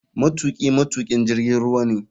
Matuki matukin jirgin ruwa ne.